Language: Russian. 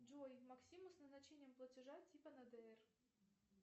джой максиму с назначением платежа типа на др